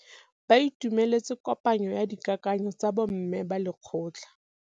Ba itumeletse kôpanyo ya dikakanyô tsa bo mme ba lekgotla.